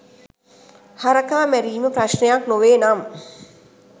හරකා මැරීම ප්‍රශ්නයක් නොවේනම්